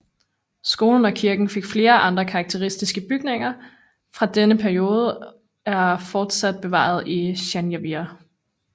Skolen og kirken og flere andre karakteristiske bygninger fra denne periode er fortsat bevaret i San Javier